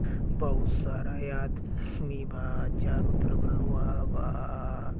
'' बहुत सारा आदमी बा''''चारो तरफ लोहा बा। ''